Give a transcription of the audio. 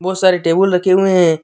बहुत सारे टेबुल रखे हुए हैं।